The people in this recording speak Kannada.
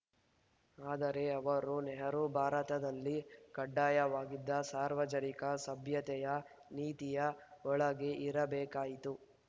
ಆದರೆ ಅವರು ನೆಹರು ಭಾರತದಲ್ಲಿ ಕಡ್ಡಾಯವಾಗಿದ್ದ ಸಾರ್ವಜನಿಕ ಸಭ್ಯತೆಯ ನೀತಿಯ ಒಳಗೇ ಇರಬೇಕಾಯಿತು